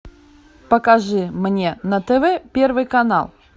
покажи мне на тв первый канал